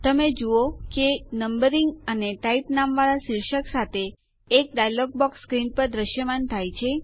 તમે જુઓ છો કે નંબરિંગ અને ટાઇપ નામવાળા શીર્ષક સાથે એક ડાયલોગ બોક્સ સ્ક્રીન પર દ્રશ્યમાન થાય છે